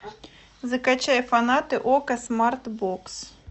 закачай фанаты окко смартбокс